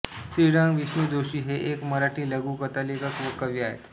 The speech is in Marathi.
श्रीरंग विष्णु जोशी हे एक मराठी लघुकथालेखक व कवी आहेत